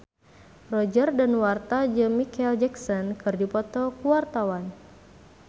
Roger Danuarta jeung Micheal Jackson keur dipoto ku wartawan